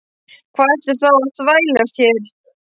Hvað ertu þá að þvælast hér?